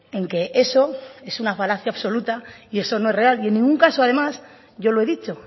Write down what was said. en que eso es una falacia absoluta eso no es real y en ningún caso además yo lo he dicho